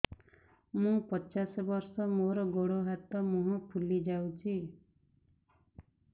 ମୁ ପଚାଶ ବର୍ଷ ମୋର ଗୋଡ ହାତ ମୁହଁ ଫୁଲି ଯାଉଛି